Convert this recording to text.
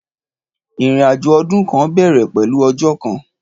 Ìrinàjó ọ̀dún kan bẹẹrẹ pẹlú ọ̀jọ́ kan